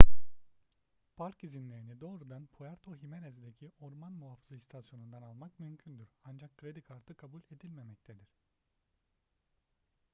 park izinlerini doğrudan puerto jiménez'deki orman muhafızı i̇stasyonu'ndan almak mümkündür ancak kredi kartı kabul edilmemektedir